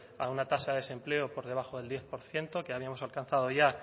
a una tasa de desempleo por debajo del diez por ciento que habíamos alcanzado ya